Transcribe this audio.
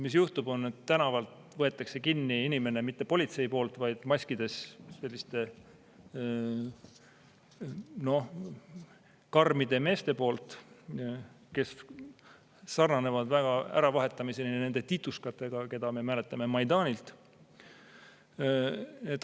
Mis juhtub: inimene võetakse tänaval kinni, ja seda ei tee mitte politsei, vaid teevad maskides karmid mehed, kes sarnanevad äravahetamiseni nende tituškadega, keda me mäletame Maidanilt.